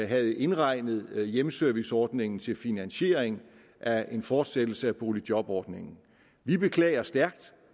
havde indregnet hjemmeserviceordningen til finansiering af en fortsættelse af boligjobordningen vi beklager stærkt